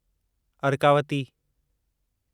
Arkavati